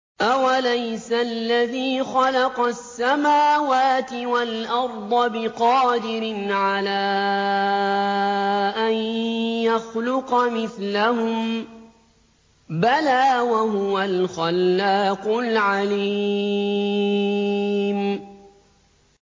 أَوَلَيْسَ الَّذِي خَلَقَ السَّمَاوَاتِ وَالْأَرْضَ بِقَادِرٍ عَلَىٰ أَن يَخْلُقَ مِثْلَهُم ۚ بَلَىٰ وَهُوَ الْخَلَّاقُ الْعَلِيمُ